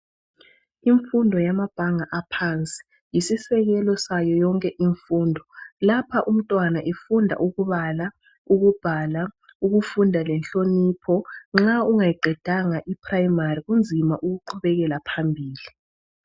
Imfundo yamabhanga aphansi yisisekelo sayo yonke imfundo lapha umntwana efunda ukubala, ukubhala ukufunda lenhlonipho nxa ungayiqedanga iPrimary kunzima ukuqhubekela phambili.